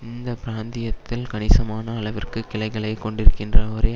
இந்த பிராந்தியத்தில் கணிசமான அளவிற்கு கிளைகளை கொண்டிருக்கின்ற ஒரே